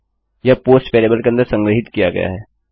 यह post variable के अंदर संग्रहीत किया गया है